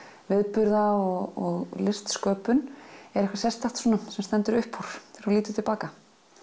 viðburða og listsköpun er eitthvað sérstakt svona sem stendur uppúr þú lítur til baka